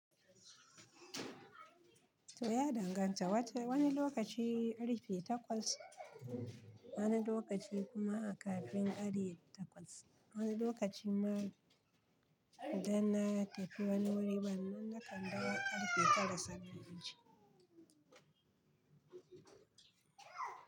To ya danganta, wata wani lokaci ari fi takwas, wani lokaci kuma kafin ari takwas. Wani lokaci ma idan na tafi wani wuri ban manne kanda ba ari fi fara saba gari.